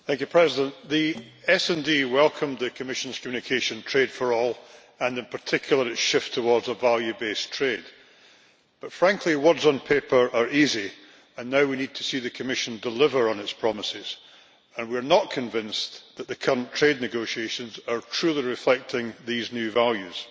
Mr President, the SD Group welcomed the Commission's communication, Trade for All, and in particular its shift towards a value based trade. But frankly, words on paper are easy and now we need to see the Commission deliver on its promises, and we are not convinced that the current trade negotiations are truly reflecting these new values.